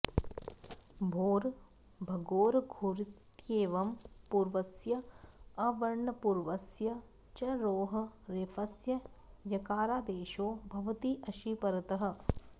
भोर् भगोरघोरित्येवं पूर्वस्य अवर्णपूर्वस्य च रोः रेफस्य यकारादेशो भवति अशि परतः